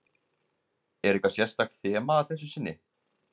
Er eitthvað sérstakt þema að þessu sinni?